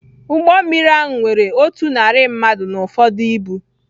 Ụgbọ mmiri ahụ nwere otu narị mmadụ na ụfọdụ ibu